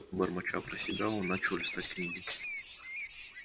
бормоча про себя он начал листать книги